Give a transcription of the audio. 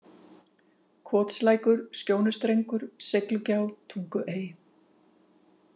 Kotslækur, Skjónustrengur, Seiglugjá, Tunguey